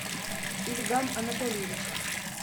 ильгам анатольевич